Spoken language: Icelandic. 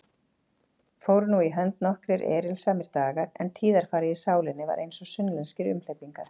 Fóru nú í hönd nokkrir erilsamir dagar, en tíðarfarið í sálinni var einsog sunnlenskir umhleypingar.